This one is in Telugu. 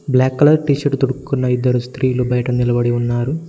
బ్లాక్ కలర్ టీషర్టు తొడుకున్న ఇద్దరు స్త్రీలు బయట నిలబడి ఉన్నారు.